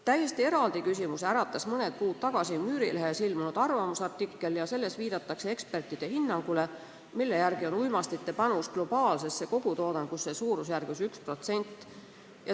Täiesti eraldi küsimuse äratas mõni kuu tagasi Müürilehes ilmunud arvamusartikkel, milles viidatakse ekspertide hinnangule, mille järgi on uimastite panus globaalsesse kogutoodangusse suurusjärgus 1%.